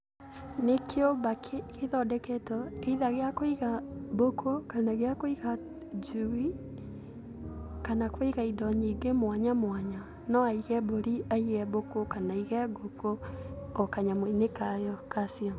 Nĩ kĩũmba kĩthondeketwo either gĩa kũiga mbũkũ ,kana gĩa kũiga njui, kana kũiga indo nyingĩ mwanyamwanya. No aige mbũri, aige mbũkũ, kana aige ngũkũ, o kanyamũ-inĩ kayo kacio.